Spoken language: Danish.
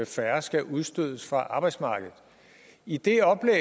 færre skal udstødes fra arbejdsmarkedet i det oplæg